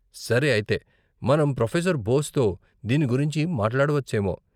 సరే అయితే, మనం ప్రొఫెసర్ బోస్తో దీని గురించి మాట్లాడవచ్చేమో.